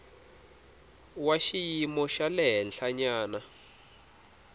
wa xiyimo xa le henhlanyana